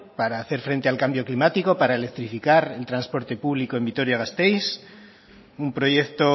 para hacer frente al cambio climático para electrificar el transporte público en vitoria gasteiz un proyecto